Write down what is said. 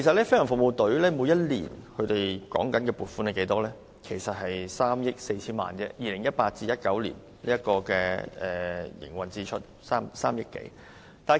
飛行服務隊每年獲得撥款只有3億多元，而 2018-2019 年度的營運支出便是3億 4,000 萬元左右。